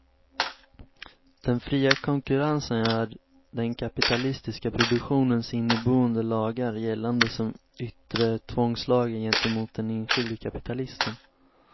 Den fria konkurrensen gör den kapitalistiska produktionens inneboende lagar gällande som yttre tvångslagar gentemot den enskilde kapitalisten.